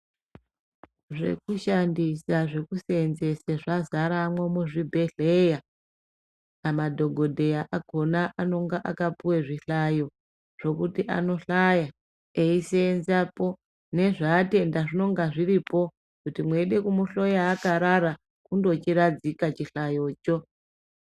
Zvekushandisa, zvekuseenzese zvazaramwo muzvibhedhleya. Madhogodheya akona anonga akapuwa zvihlayo zvokuti anohlaya eiseenzapo, nezvaatenda zvinonga zviripo. Kuti mweida kumuhloya akarara, kundochiradzika chihlayocho.